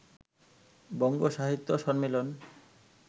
বঙ্গ সাহিত্য সম্মিলন